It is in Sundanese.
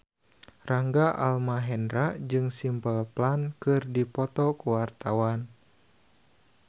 Rangga Almahendra jeung Simple Plan keur dipoto ku wartawan